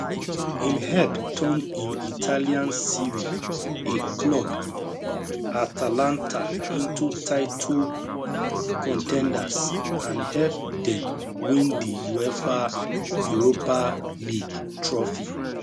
im help turn im italian serie a club atalanta into title con ten ders and help dem win di uefa europa league trophy